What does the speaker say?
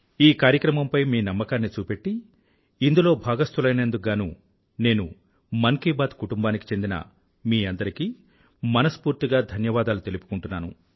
ఈ కార్యక్రమంపై మీ నమ్మకాన్ని చూపెట్టి ఇందులో భాగస్తులైనందుకు గాను నేను మన్ కీ బాత్ కుటుంబానికి చెందిన మీ అందరికీ మనస్ఫూర్తిగా ధన్యవాదాలు తెలుపుకుంటున్నాను